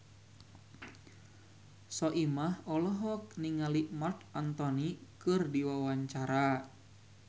Soimah olohok ningali Marc Anthony keur diwawancara